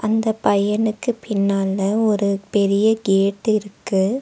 இந்தப் பையனுக்கு பின்னால ஒரு பெரிய கேட் இருக்கு.